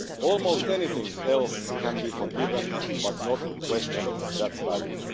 Almost anything else can be forgiven, but not questioning that value.